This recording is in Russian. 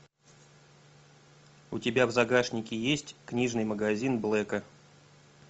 у тебя в загашнике есть книжный магазин блэка